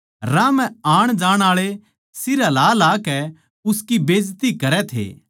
राह म्ह आणजाण आळे सिर हलाहलाकै उसकी बेजती करै थे